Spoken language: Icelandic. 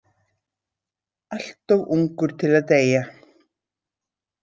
Allt of ungur til að deyja.